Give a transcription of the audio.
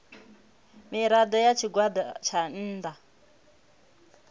mirado ya tshigwada tsha nnda